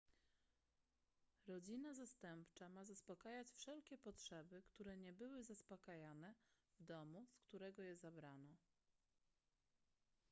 rodzina zastępcza ma zaspokajać wszelkie potrzeby które nie były zaspokajane w domu z którego je zabrano